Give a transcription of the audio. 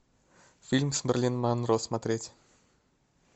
фильм с мерлин монро смотреть